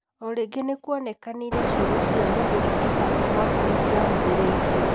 O rĩngĩ nĩkwonekire ciugo cia mũthuri Evans Mwangi nĩcĩahũthĩrĩrio.